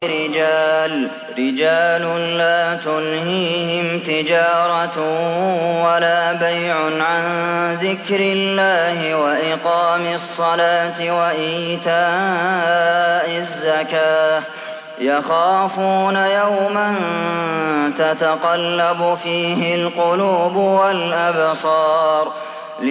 رِجَالٌ لَّا تُلْهِيهِمْ تِجَارَةٌ وَلَا بَيْعٌ عَن ذِكْرِ اللَّهِ وَإِقَامِ الصَّلَاةِ وَإِيتَاءِ الزَّكَاةِ ۙ يَخَافُونَ يَوْمًا تَتَقَلَّبُ فِيهِ الْقُلُوبُ وَالْأَبْصَارُ